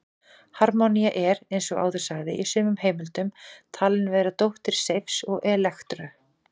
Harmonía er, eins og áður sagði, í sumum heimildum talin vera dóttir Seifs og Elektru.